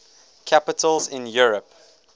capitals in europe